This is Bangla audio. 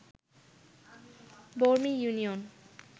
বরমী ইউনিয়ন